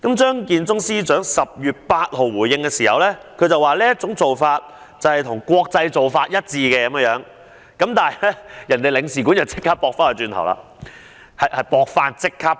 張建宗司長在10月8日作出回應，指特區政府的做法與國際做法一致，但英國領事館已即時反駁。